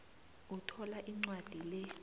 uthola incwadi le